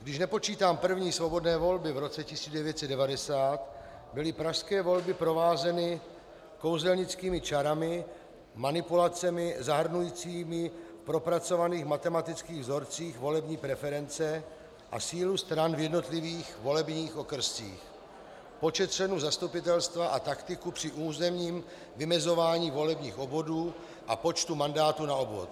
Když nepočítám první svobodné volby v roce 1990, byly pražské volby provázeny kouzelnickými čarami, manipulacemi zahrnujícími v propracovaných matematických vzorcích volební preference a sílu stran v jednotlivých volebních okrscích, počet členů zastupitelstva a taktiku při územním vymezování volebních obvodů a počtu mandátů na obvod.